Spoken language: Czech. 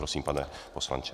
Prosím, pane poslanče.